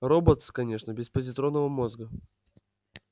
роботс конечно без позитронного мозга